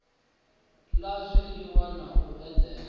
la zwiliwa na u edela